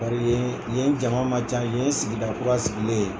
Bari yen yen jama man ca yen ye sigida kura sigilen ye